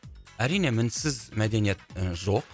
әрине мінсіз мәдениет і жоқ